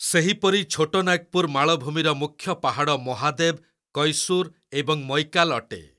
ସେହିପରି ଛୋଟ ନାଗ୍‍ପୁର୍ ମାଳଭୂମିର ମୁଖ୍ୟ ପାହାଡ଼ ମହାଦେବ୍, କୈସୁର୍ ଏବଂ ମୈକାଲ୍ ଅଟେ।